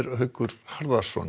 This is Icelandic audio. Haukur Harðarson